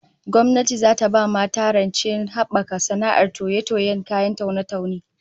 Gwamnati zata ba mata rancevdon habaka sana'ar toye-tiyen kayan taune-taune